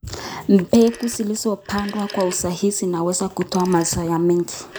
Mbegu zilizopandwa kwa usahihi zinaweza kutoa mazao mengi.